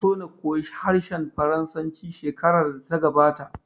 Na so na koya harshen Faransanci shekarar da ta gabata